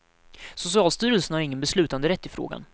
Socialstyrelsen har ingen beslutanderätt i frågan.